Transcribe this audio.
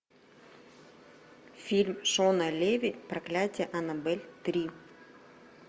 фильм шона леви проклятие аннабель три